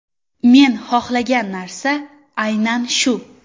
Men xohlagan narsa aynan shu.